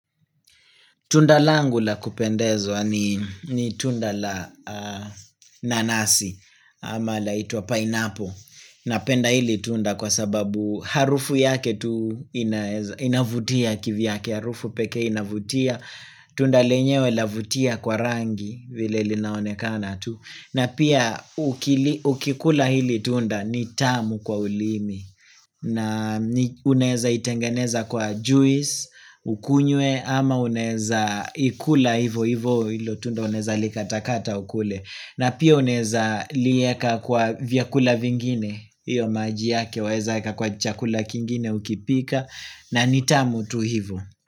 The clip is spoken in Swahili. Tunda langu la kupendezwa ni ni tunda la nanasi ama laitua pineapple. Napenda hili tunda kwa sababu harufu yake tu inaeza inavutia kivyake, harufu peke inavutia. Tunda lenyewe la vutia kwa rangi vile linaonekana tu. Na pia ukili ukikula hili tunda ni tamu kwa ulimi. Na ni unaezaitengeneza kwa juisi, ukunywe ama unaeza ikula hivo hivo hilo tunda unaeza likatakata ukule. Na pia unaeza lieka kwa vyakula vingine, iyo maji yake, waeza eka kwa chakula kingine ukipika na nitamu tu hivo.